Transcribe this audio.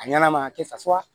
A ɲɛna a ka kɛ sa